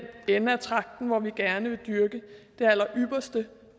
ende af tragten hvor vi gerne vil dyrke det allerypperste